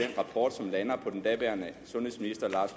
rapport som lander på den daværende sundhedsminister lars